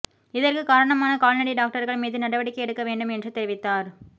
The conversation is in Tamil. இதற்கு காரணமான கால்நடை டாக்டர்கள் மீது நடவடிக்கை எடுக்க வேண்டும் என்று தெரிவித்தார்